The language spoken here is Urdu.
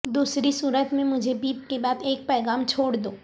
دوسری صورت میں مجھے بپ کے بعد ایک پیغام چھوڑ دو